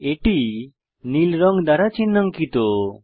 এটি নীল রং চিন্হাঙ্কিত